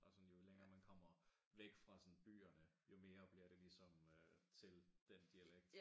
Og sådan jo længere man kommer væk fra sådan byerne jo mere bliver det ligesom til den dialekt